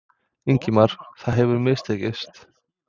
Ingimar: Það hefur mistekist?